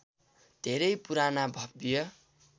धेरै पुराना भब्य